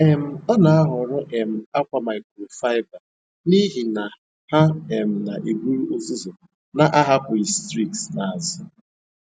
um Ọ na-ahọrọ um akwa microfiber n'ihi na ha um na-eburu uzuzu na-ahapụghị streaks n'azụ.